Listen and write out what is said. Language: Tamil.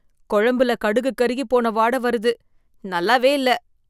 கொழம்புல கடுகு கருகிப் போன வாட வருது, நல்லாவே இல்லை.